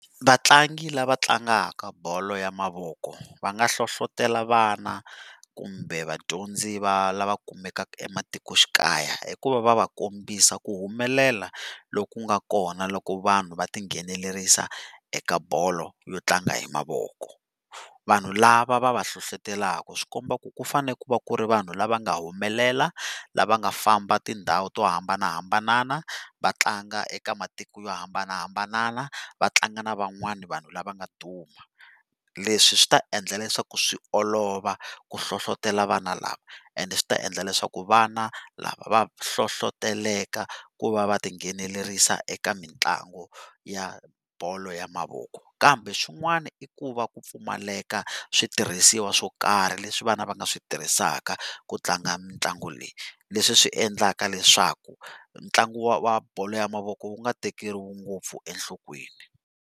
Vatlangi lava tlangaka bolo ya mavoko, va nga hlohlotelo vana kumbe vadyondzi va lava kumekaka ematikoxikaya hikuva va va kombisa ku humelela loku nga kona loko vanhu va tinghenelerisa eka bolo yo tlanga hi mavoko. Vanhu lava va va hlohlotelaka swikomba ku ku fane ku va ku ri vanhu lava nga humelela lava nga famba tindhawu to hambanahambana vatlanga eka matiko yo hambanahambana vatlanga na van'wani vanhu lava nga duma. Leswi swi ta endla leswaku swi olova ku hlohlotelo vana lava, and swi ta endla leswaku vana lava va hlohloteleka ku va va tinghenelerisa eka mitlangu ya bolo ya mavoko, kambe swin'wana i ku va ku pfumaleka switirhisiwa swo karhi leswi vana va nga swi tirhisaka ku tlanga mitlangu leyi leswi swi endlaka leswaku ntlangu wa wa bolo ya mavoko wu nga tekeriwi ngopfu enhlokweni.